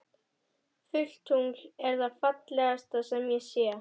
Fullt tungl er það fallegasta sem ég sé.